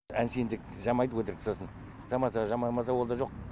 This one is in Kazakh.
әншейін тек жамайды өтірік сосын жамаса жамамаса ол да жоқ